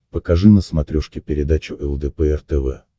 покажи на смотрешке передачу лдпр тв